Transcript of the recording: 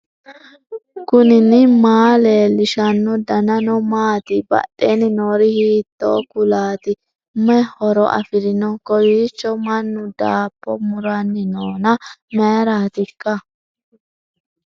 knuni maa leellishanno ? danano maati ? badheenni noori hiitto kuulaati ? mayi horo afirino ? kowiicho mannu daabbo muranni noona mayraatikka